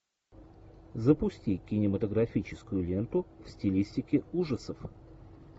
запусти кинематографическую ленту в стилистике ужасов